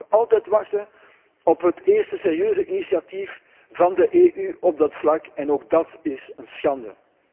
Het is nog altijd wachten op het eerste serieuze initiatief van de Europese Unie op dat vlak en ook dat is een schande.